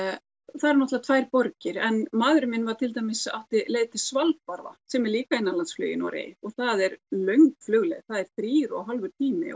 það er náttúrulega tvær borgir en maðurinn minn var til dæmis átti leið til Svalbarða sem er líka innanlandsflug í Noregi og það er löng flugleið það er þrír og hálfur tími